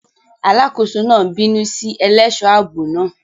Alákòóso náà ń bínú sí ẹlẹ́ṣọ̀ ààbò náà.